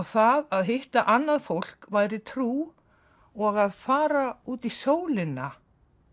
það að hitta annað fólk væri trú og að fara út í sólina